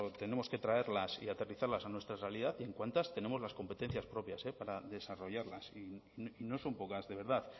tenemos que traerlas y aterrizarlas a nuestra realidad y en cuántas tenemos las competencias propias para desarrollarlas y no son pocas de verdad